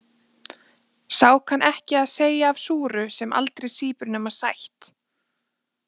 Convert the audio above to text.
Sá kann ekki að segja af súru sem aldrei sýpur nema sætt.